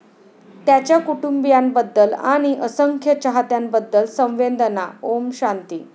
त्याच्या कुटुंबियांबद्दल आणि असंख्य चाहत्यांबद्दल संवेदना ओम शांती.